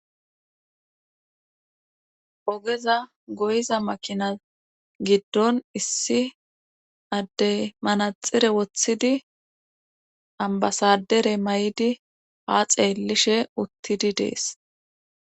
ogeza goyiza makinas giddon issi addey manaxire woththidi ambasadere mayidi haa xeellishe uttidi dees